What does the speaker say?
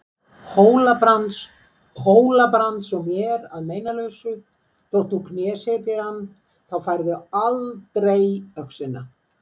Hóla-Brands og mér að meinalausu þótt þú knésetjir hann, þá færðu aldrei öxina.